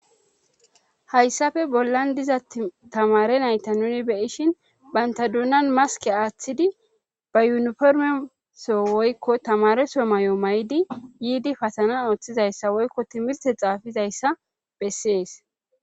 Hayssafe bollan diza tamare nayta nuni beyishin banta duunan maske aaththidi ba yuniformeso woykko tamareso may7o may7di yiidi pasana ooththizayssa woykko timirte xaafizayssa bessees.